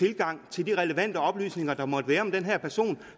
adgang til de relevante oplysninger der måtte være om den her person